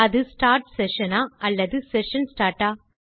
அது start session ஆ அல்லது செஷன் ஸ்டார்ட் ஆ